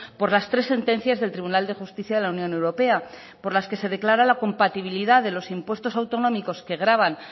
por las tres sentencias del tribunal de justicia de la unión europea por la que se declara la compatibilidad de los impuestos autonómicos que gravan